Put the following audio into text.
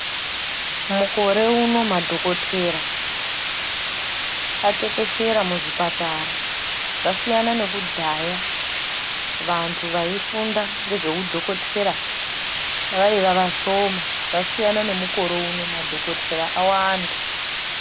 Mukore uno madhokotera atekeshera muzvipatara zvasiyana nekudhaya vantu vaifunda ngezveudhokotera vaiva vashoma. Zvasiyana nemukore uno madhokotera awanda.